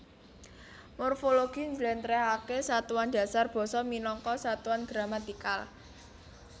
Morfologi njlentrehake satuan dasar basa minangka satuan gramatikal